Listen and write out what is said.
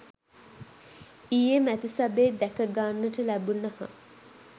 ඊයේ මැතිසබේ දැක ගන්නට ලැබුණහ.